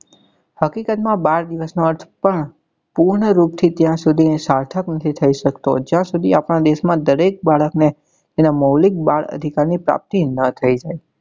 હકીકત માં બાળ દિવસ નો અર્થ પણ પૂર્ણ રૂપ થી ત્યાં સુધી સાર્થક નથી થઇ સકતો જ્યાં સુધી આપડા દેશ માં દરેક બાળક ને તેના મૌલીક બાળ અધિકાર ની પ્રાપ્તિ નાં થઇ જાય.